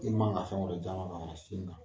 I ma kan fɛn wɛrɛ jama ka sin